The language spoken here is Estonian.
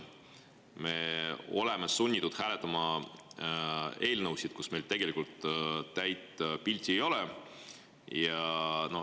Me oleme sunnitud hääletama eelnõusid, millest meil tegelikult täit pilti ei ole.